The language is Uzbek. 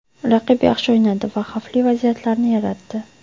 Raqib yaxshi o‘ynadi va xavfli vaziyatlarni yaratdi.